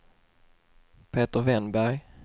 Peter Wennberg